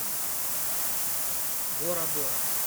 бора бора